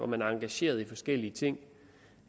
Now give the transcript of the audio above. man er engageret i forskellige ting